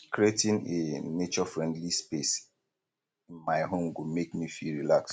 creating a naturefriendly space in my home go make me feel relaxed